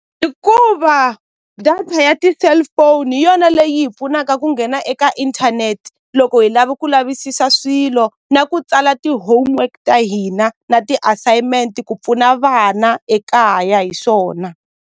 I ku va data ya ti-cellphone hi yona leyi hi pfunaka ku nghena eka inthanete loko hi lava ku lavisisa swilo na ku tsala ti-homework ta hina na ti-assignment ku pfuna vana ekaya hi swona.